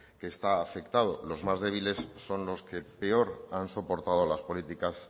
que está afectado los más débiles son los que peor han soportado las políticas